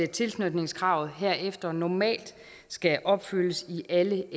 tilknytningskravet herefter normalt skal opfyldes i alle